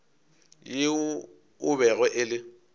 yoo e bego e le